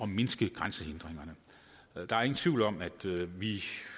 mindske grænsehindringerne der er ingen tvivl om at vi